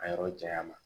A yɔrɔ janya ma